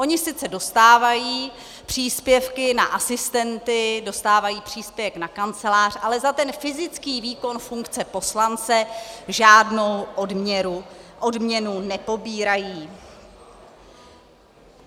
Oni sice dostávají příspěvky na asistenty, dostávají příspěvek na kancelář, ale za ten fyzický výkon funkce poslance žádnou odměnu nepobírají.